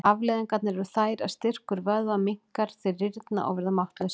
Afleiðingarnar eru þær að styrkur vöðva minnkar, þeir rýrna og verða máttlausir.